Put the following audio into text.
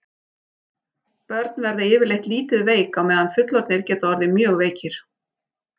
Börn verða yfirleitt lítið veik á meðan fullorðnir geta orðið mjög veikir.